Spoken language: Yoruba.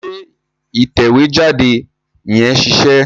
Ṣé ìtẹ̀wé jáde yẹn ṣiṣẹ́?